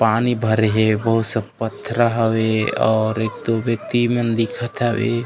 पानी भरे हे बहुत से पथरा हवे और एक दो व्यक्ति मन दिखत हवे।